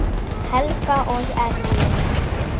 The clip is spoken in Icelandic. Helga og Erling.